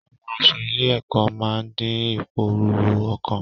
Àwọn aṣọ ilé-ẹ̀kọ́ máa ń dín ìpòrúru ọkàn.